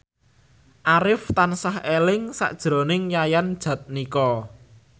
Arif tansah eling sakjroning Yayan Jatnika